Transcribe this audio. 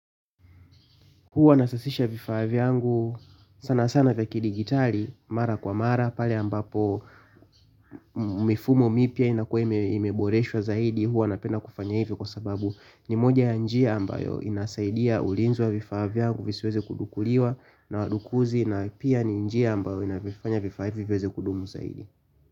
Huwa nasasisha vifaa vyangu sana sana vya kidigitali mara kwa mara pale ambapo mifumo mipya inakuwa imeboreshwa zaidi huwa napenda kufanya hivi kwa sababu ni moja ya njia ambayo inasaidia ulinzi wa vifaa vyangu visiweze kudukuliwa na wadukuzi na pia ni njia ambayo inavifanya vifaa hivi viweze kudumu zaidi.